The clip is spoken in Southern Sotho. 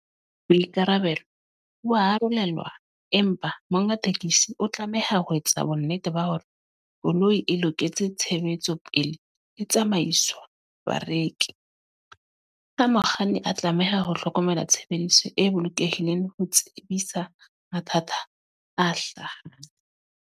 Boikarabelo ba arolelwa, empa monga tekesi o tlameha ho etsa bonnete ba hore, koloi e loketse tshebetso pele e tsamaiswa bareki. Ha mokganni a tlameha ho hlokomela tshebediso e bolokehileng ho tsebisa mathata a hlahang.